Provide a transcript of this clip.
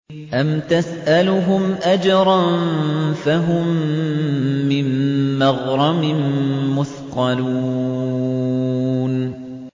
أَمْ تَسْأَلُهُمْ أَجْرًا فَهُم مِّن مَّغْرَمٍ مُّثْقَلُونَ